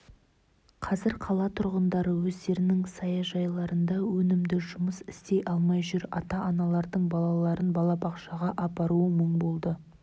қазір қала тұрғындары өздерінің саяжайларында өнімді жұмыс істей алмай жүр ата-аналардың балаларын балабақшаға апаруы мұң болды